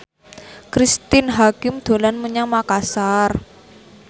Cristine Hakim dolan menyang Makasar